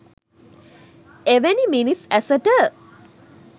එවැනි මිනිස් ඇසට